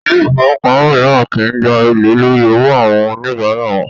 Ilé ifówópamọ́ míràn kìí gbà èlé lórí owó àwọn oníbárà wọn